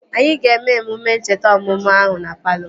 Anyị ga-eme emume ncheta ọmụmụ ahụ na palọ